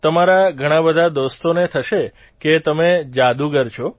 તમારા ઘણા બધા દોસ્તોને થશે કે તમે જાદુગર છો